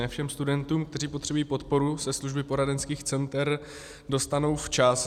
Ne všem studentům, kteří potřebují podporu, se služby poradenských center dostanou včas.